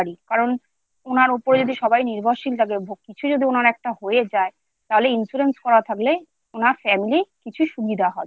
কারণ উনার উপরে যদি সবাই নির্ভরশীল থাকে কিছু উনার একটা হয়ে যায় তাহলে Life insurance করা থাকলে উনার Family কিছু সুবিধা হবে